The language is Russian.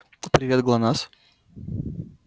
привет глонассс